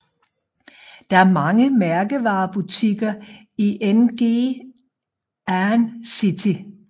Der er mange mærkevarebutikker i Ngee Ann City